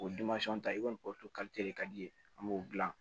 O ta i kɔni de ka di ye an b'o dilan